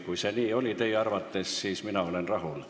Kui see teie arvates nii oli, siis olen ma rahul.